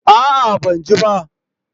A'a ban je ba